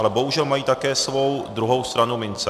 Ale bohužel mají také svou druhou stranu mince.